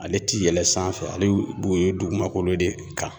Ale ti yɛlɛn sanfɛ ,ale b'o ye dugumakolo de kan.